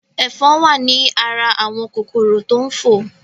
Ẹ̀fọn wa ní ara àwọn kòkòrò tó ń fò